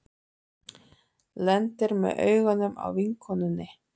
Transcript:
Lendir með augun á vinkonunni.